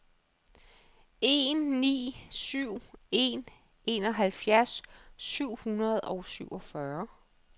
en ni syv en enoghalvfjerds syv hundrede og syvogfyrre